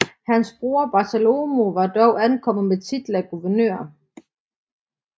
Hans bror Bartolomeo var dog ankommet med titel af guvernør